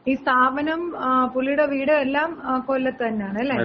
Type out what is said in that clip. ഈ സ്ഥാപനം, പുള്ളീടെ വീട് എല്ലാം കൊല്ലത്ത് തന്നെയാണല്ലെ?